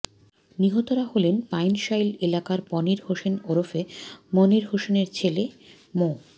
নিহতরা হলেন পাইনশাইল এলাকার পনির হোসেন ওরফে মনির হোসেনের ছেলে মো